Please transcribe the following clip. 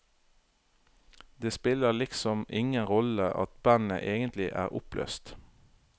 Det spiller liksom ingen rolle at bandet egentlig er oppløst.